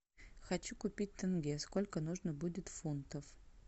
хочу купить тенге сколько нужно будет фунтов